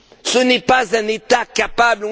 Ce n'est pas un État capable.